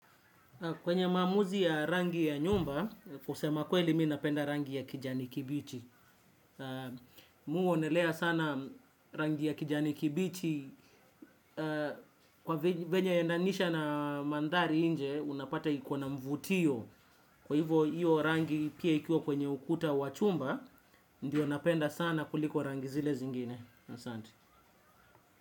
Kwenye maamuzi ya rangi ya nyumba, kusema kweli mi napenda rangi ya kijani kibichi. Mi huonelea sana rangi ya kijani kibichi. Kwa venye nanisha na mandari nje, unapata iko na mvutio. Kwa hivyo, iyo rangi pia ikiwa kwenye ukuta wa chumba, ndiyo napenda sana kuliko rangi zile zingine.